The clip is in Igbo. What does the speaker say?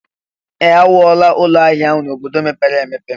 Ee! E wuola ụlọ ahịa ahụ n'ime obodo mepere emepe.